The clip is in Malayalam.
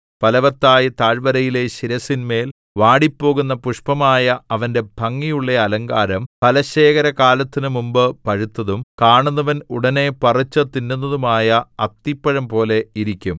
ഫലവത്തായ താഴ്വരയിലെ ശിരസ്സിന്മേൽ വാടിപ്പോകുന്ന പുഷ്പമായ അവന്റെ ഭംഗിയുള്ള അലങ്കാരം ഫലശേഖരകാലത്തിനു മുമ്പ് പഴുത്തതും കാണുന്നവൻ ഉടനെ പറിച്ചുതിന്നുന്നതുമായ അത്തിപ്പഴംപോലെ ഇരിക്കും